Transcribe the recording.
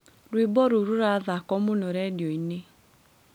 Rwĩmbo roũ rũrathako mũno redionĩ